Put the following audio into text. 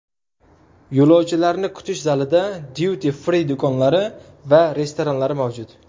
Yo‘lovchilarni kutish zalida Duty free do‘konlari va restoranlari mavjud.